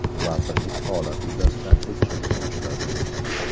Vazirlik holat yuzasidan tekshiruv boshladi.